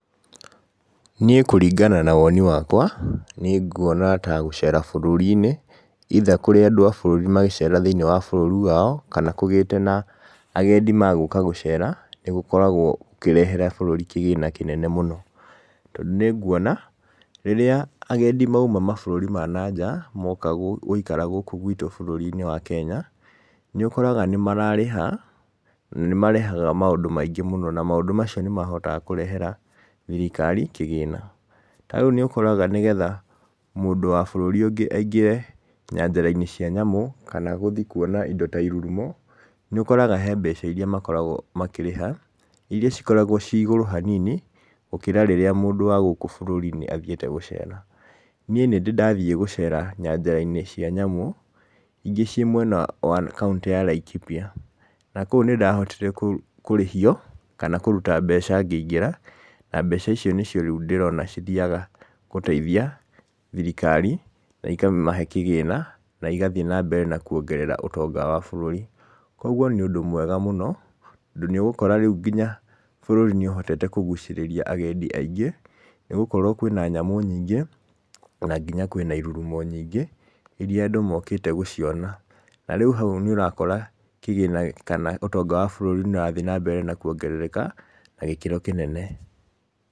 Niĩ kũringana na woni wakwa nĩnguona ta gũcera bũrũrinĩ either kũrĩ andũ a bũrũri magecera thĩinĩ wa bururi wao, kana kũgĩte na agendi magũka gũcera nĩgũkoragwo gũkĩrehera bũrũri kĩgĩna kĩnene mũno. Tondũ nĩnguona rĩrĩa agendi mauma mabũrũri ma nanja moka gũikara gũkũ gwĩtũ bũrũrinĩ wa Kenya nĩũkoraga nĩmararĩha maũndũ maingĩ mũno bũrũrinĩ witu na maũndũ macio nĩmahotaga kũrehera thirikari kĩgĩna. Ta rĩu nĩũkoraga nĩgetha mũndũ wa bũrũri ũngĩ aingĩre nyanjarainĩ cia nyamũ kana gũthiĩ kuona indo ta irurumo nĩũkoraga harĩ mbeca iria makoragwo makĩrĩha iria ikoragwo cirĩ igũrũ hanini gũkĩra rĩrĩa mũndũ wa gũkũ bũrũrinĩ athiĩte gũcera. Niĩ nĩndĩrĩ ndathiĩ nyanjarainĩ cia nyamũ ingĩ irĩ mwena wa kauntĩinĩ ya Laikipia na kũu nĩndahotire kũrĩhio kana kũruta mbeca ngĩingĩra na mbeca icio nĩcio ndĩrona cithiyaga gũteithia thirikari na ikamahe kĩgĩna, na igathiĩ na mbere na kuongerera ũtonga wa bũrũri. Koguo nĩ ũndũ mwega mũno tondũ nĩũgũkora nginya bũrũri nĩũhotete kũgucĩrĩria nginya agendi aingĩ nĩgũkorwo nginya kwĩna nyamũ nyingĩ, na nginya kwĩna irurumo nyingĩ irĩa andũ mokĩte gũciona. Na rĩu hau nĩũkuona kĩgĩna kana ũtonga wa bũrũri nĩũrathiĩ na mbere na kuongerereka, na gĩkĩro kĩnene.